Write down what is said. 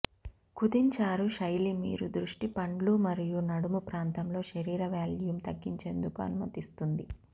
కుదించారు శైలి మీరు దృష్టి పండ్లు మరియు నడుము ప్రాంతంలో శరీర వాల్యూమ్ తగ్గించేందుకు అనుమతిస్తుంది